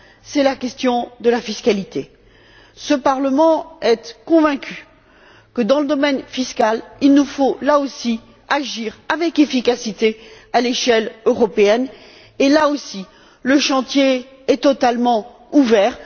C'est la question de la fiscalité. Ce Parlement est convaincu que, dans le domaine fiscal également, il nous faut agir avec efficacité à l'échelle européenne et, là aussi, le chantier est totalement ouvert.